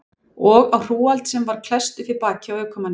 Og á hrúgald sem var klesst upp við bakið á ökumanninum.